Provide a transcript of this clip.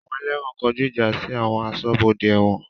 Àwọn ẹlẹ́wọ̀n kọjú ìjà sí àwọn aṣọ́bodè ẹ̀wọ̀n